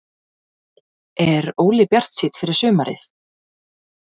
Er Óli bjartsýnn fyrir sumarið?